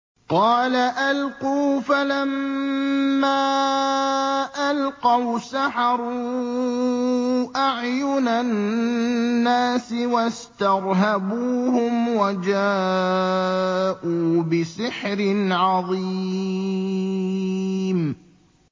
قَالَ أَلْقُوا ۖ فَلَمَّا أَلْقَوْا سَحَرُوا أَعْيُنَ النَّاسِ وَاسْتَرْهَبُوهُمْ وَجَاءُوا بِسِحْرٍ عَظِيمٍ